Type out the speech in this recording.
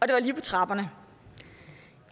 det var lige på trapperne